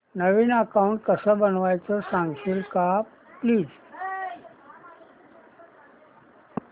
नवीन account कसं बनवायचं सांगशील का प्लीज